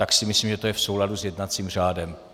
Tak si myslím, že je to v souladu s jednacím řádem.